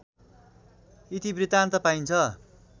इतिवृत्तान्त पाइन्छ